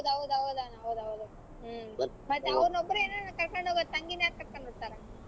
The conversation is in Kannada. ಹೌದ್ ಹೌದ್ ಅಣ್ಣಾ ಹೌದ್ ಹೌದು ಹ್ಮ್ ಮತ್ತ ಅವರೊಬ್ಬರನೇ ಏನ್ ಅಣ್ಣಾ ಕರಕೊಂಡ್ ಹೋಗೋದು ತಂಗಿನ ಯಾರ್ ಕರಕೊಂಡ್ ಹೋಗ್ತಾರಾ?